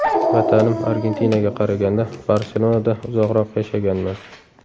Vatanim Argentinaga qaraganda, Barselonada uzoqroq yashaganman.